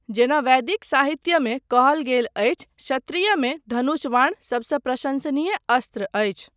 जेना वैदिक साहित्यमे कहल गेल अछि, क्षत्रियमे धनुष बाण सबसँ प्रशंसनीय अस्त्र अछि।